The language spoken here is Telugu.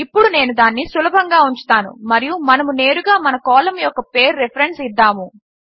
ఇప్పుడు నేను దానిని సులభంగా ఉంచుతాను మరియు మనము నేరుగా మన కాలం యొక్క పేరు రిఫరెన్స్ ఇద్దాము